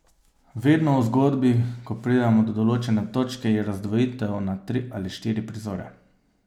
Vedno v zgodbi, ko pridemo do določene točke, je razdvojitev na tri ali štiri prizore.